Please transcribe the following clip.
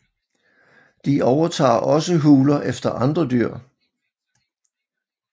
De overtager også huler efter andre dyr